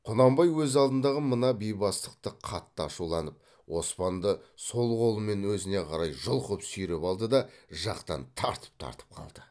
құнанбай өз алдындағы мына бейбастықты қатты ашуланып оспанды сол қолымен өзіне қарай жұлқып сүйреп алды да жақтан тартып тартып қалды